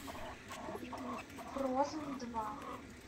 фрозен два